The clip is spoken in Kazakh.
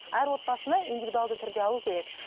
әр отбасына индивидуалды түрде алу керек